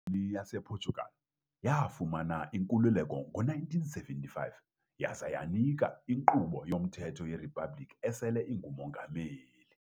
IKoloni yasePortugal, yafumana inkululeko ngo-1975 yaza yanika inkqubo yomthetho yeriphabliki esele ingumongameli .